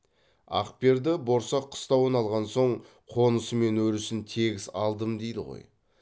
ақперді борсақ қыстауын алған соң қонысы мен өрісін тегіс алдым дейді ғой